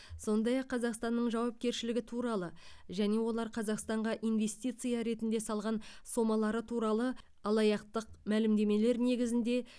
сондай ақ қазақстанның жауапкершілігі туралы және олар қазақстанға инвестиция ретінде салған сомалары туралы алаяқтық мәлімдемелер негізінде